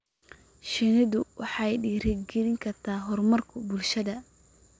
Shinnidu waxay dhiirigelin kartaa horumarka bulshada.